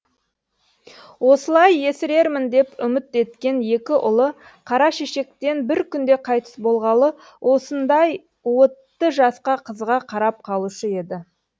осылай есірермін деп үміт еткен екі ұлы қара шешектен бір күнде қайтыс болғалы осындай уытты жасқа қызыға қарап қалушы еді